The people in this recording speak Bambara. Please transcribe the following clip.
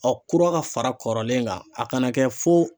Ɔ kura ka fara kɔrɔlen kan a kana kɛ fo